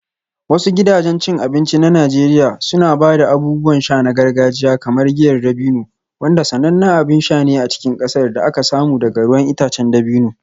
Wasu gidajen cin abinci na Najeriya suna ba da abubuwan sha na gargajiya kamar giyar dabino, wanda sanannen abin sha ne a cikin ƙasar da aka samu daga ruwan itacen dabino.